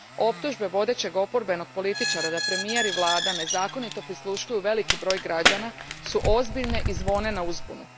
Optužbe vodećeg oporbenog političara da premijer i vlada nezakonito prisluškuju veliki broj građana ozbiljne su i zvone na uzbunu.